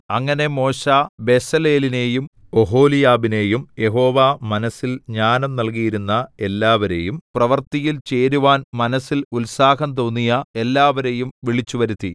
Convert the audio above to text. അങ്ങനെ മോശെ ബെസലേലിനെയും ഒഹൊലിയാബിനെയും യഹോവ മനസ്സിൽ ജ്ഞാനം നല്കിയിരുന്ന എല്ലാവരെയും പ്രവൃത്തിയിൽ ചേരുവാൻ മനസ്സിൽ ഉത്സാഹം തോന്നിയ എല്ലാവരെയും വിളിച്ചുവരുത്തി